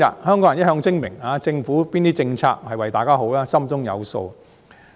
香港人一向精明，政府哪些政策是為香港人好，大家心中有數。